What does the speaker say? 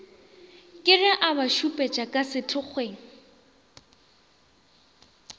keg e abašupetša ka sethokgweng